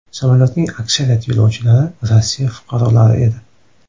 Samolyotning aksariyat yo‘lovchilari Rossiya fuqarolari edi.